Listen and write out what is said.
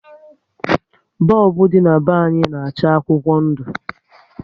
Bọlbụ dị na be anyị na-acha akwụkwọ ndụ